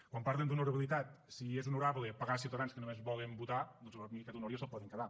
quan parlen d’honorabilitat si és honorable pegar ciutadans que només volen votar doncs per mi aquest honor ja se’l poden quedar